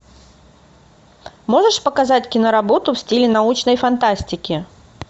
можешь показать киноработу в стиле научной фантастики